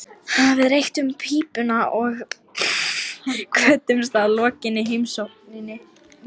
Við reyktum pípuna og kvöddumst að lokinni heimsókninni.